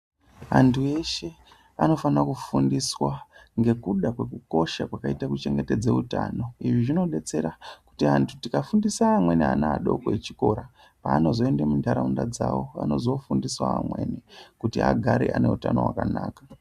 Antu eshe anofana kufundiswa ngekuda kwekukosha kwakaita kuchengetedza utano izvi zvinobatsira kuti antu tikafundise amweni ana adako echikora paanozoenda muntaraunda dzavo anozofundisawo amweni kuti agare aine utano wakanaka .